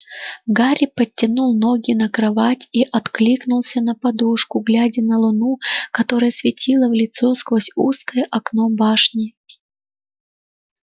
гарри подтянул ноги на кровать и откинулся на подушку глядя на луну которая светила в лицо сквозь узкое окно башни